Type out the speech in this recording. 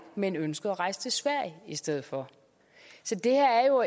men ønskede at rejse til sverige i stedet for så det her er jo